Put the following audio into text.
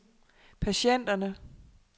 patienterne